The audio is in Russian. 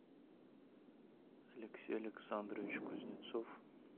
алексей александрович кузнецов